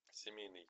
семейный